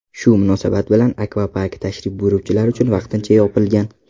Shu munosabat bilan akvapark tashrif buyuruvchilar uchun vaqtincha yopilgan.